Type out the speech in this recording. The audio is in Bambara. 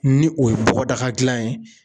Ni o ye bɔgɔdaga gilan ye